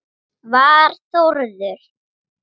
Var Þórður